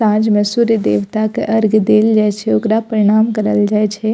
सांझ में सूर्य देवता के अर्ग देल जाय छै ओकरा प्रणाम करल जाय छै।